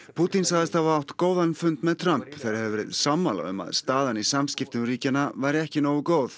Pútín sagðist hafa átt góðan fund með Trump þeir hefðu verið sammála um að staðan í samskiptum ríkjanna væri ekki nógu góð